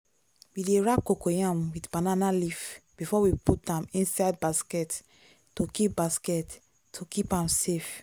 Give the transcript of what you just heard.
we dey wrap cocoyam with banana leaf before we put am inside basket to keep basket to keep am safe.